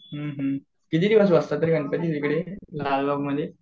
हुं हुं किती दिवस असतात रे तिकडे गणपती लालबागमध्ये?